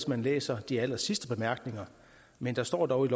man læser de allersidste bemærkninger men der står dog i